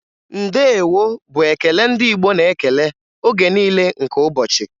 Ndeewo' bụ ekele ndị Igbo na-ekele oge niile nke ụbọchị